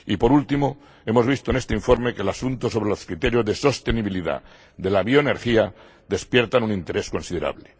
Y por último, hemos visto en este informe que el asunto sobre los criterios de sostenibilidad de la bioenergía despierta un interés considerable.